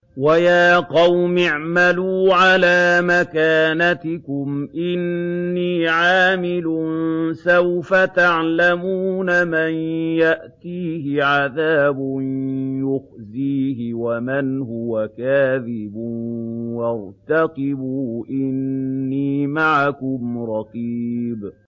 وَيَا قَوْمِ اعْمَلُوا عَلَىٰ مَكَانَتِكُمْ إِنِّي عَامِلٌ ۖ سَوْفَ تَعْلَمُونَ مَن يَأْتِيهِ عَذَابٌ يُخْزِيهِ وَمَنْ هُوَ كَاذِبٌ ۖ وَارْتَقِبُوا إِنِّي مَعَكُمْ رَقِيبٌ